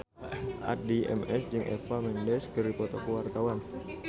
Addie MS jeung Eva Mendes keur dipoto ku wartawan